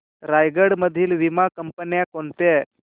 रायगड मधील वीमा कंपन्या कोणत्या